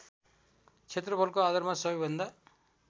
क्षेत्रफलको आधारमा सबैभन्दा